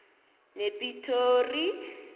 nepitori